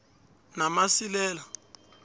namasilela